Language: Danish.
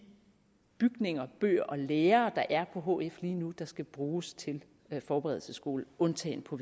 bygninger bøger og lærere der er på hf lige nu der skal bruges til forberedelsesskole undtagen på